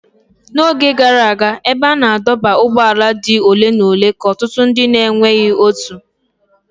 N'oge gara aga, ebe a na-adọba ụgbọala dị ole na ole ka ọtụtụ ndị na-enweghị otu.